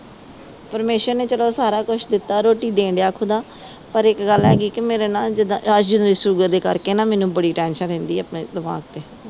ਪਰਮੇਸ਼ਵਰ ਨੇ ਚਲ ਸਾਰਾ ਕੁਛ ਦਿੱਤਾ। ਰੋਟੀ ਦੇ ਰਿਹਾ ਖੁਦਾ। ਪਰ ਇਕ ਗੱਲ ਹੈਗੀ, ਮੇਰੇ ਨਾ ਜਿਦਾਂ ਸ਼ੂਗਰ ਦੇ ਕਰਕੇ ਮੈਨੂੰ ਬੜੀ ਟੈਂਸ਼ਨ ਰਹਿੰਦੀ ਆ ਦਿਮਾਗ ਤੇ।